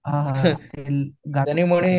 हा हा हा हा त्याने गानेपण